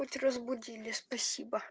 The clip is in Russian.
хоть разбудили спасибо